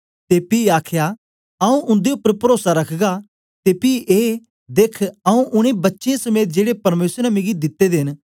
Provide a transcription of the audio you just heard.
ते पी आखया आऊँ उन्दे उपर परोसा रखगा ते पी ए देख आऊँ उनै बच्चें समेत जेड़े परमेसर ने मिकी दिते दे न